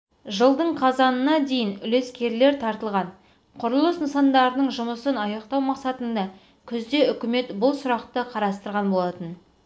жылдың қазанына дейін үлескерлер тартылған құрылыс нысандарының жұмысын аяқтау мақсатында күзде үкімет бұл сұрақты қарастырған болатын